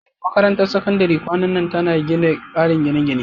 Makarantar Sakandare kwanan nan tana gina ƙarin gine-gine.